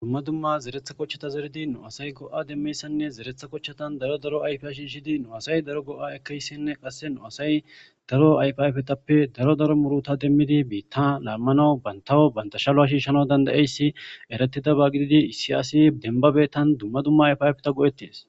Dumma dumma zeretha qochchata zeridi nu asay go'a demmeyssanne zeretha qochchatan daro daro ayfea shiishidi nu asay daro go'a ekeyssenne qasse nu asay daro ayfiayfetappe daro daro muruta demmidi biitta laammanawu bantawo bantashaloa shiishshana dandayeyssi eratida ba gididi issi asi denbabetan dumma dumma ayfiayfeta go'ettis.